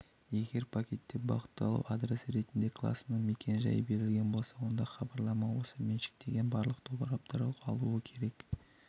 егер пакетте бағытталу адресі ретінде класының мекен-жайы берілген болса онда хабарлама осы меншіктенген барлық тораптар алуы керек